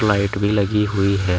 Light भी लगी हुई है।